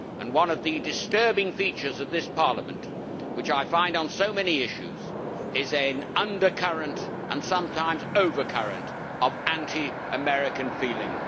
One of the disturbing features of this Parliament, which I find on so many issues, is an undercurrent and sometimes overcurrent of anti American feeling.